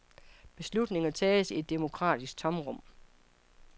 Beslutninger tages i et demokratisk tomrum.